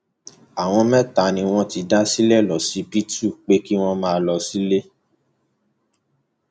àwọn mẹta ni wọn ti dá sílẹ lọsibítù pé kí wọn máa lọ sílé